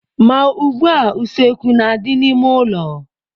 Ma ugbua, useekwu na-adị n'ime ụlọ.